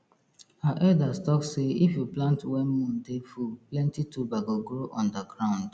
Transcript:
our elders talk sey if you plant when moon dey full plenty tuber go grow under ground